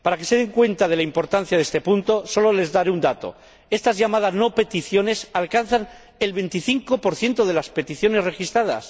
Para que se den cuenta de la importancia de este punto, solo les daré un dato estas llamadas no peticiones alcanzan el 25 de las peticiones registradas.